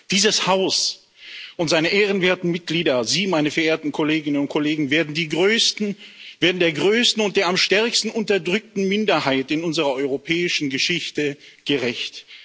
Dieses Haus und seine ehrenwerten Mitglieder, Sie, meine verehrten Kolleginnen und Kollegen, werden der größten und der am stärksten unterdrückten Minderheit in unserer europäischen Geschichte gerecht.